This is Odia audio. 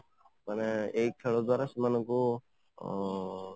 ମାନେ ଏଇ ଖେଳ ଦ୍ୱାରା ସେମାନଙ୍କୁ ଉଁ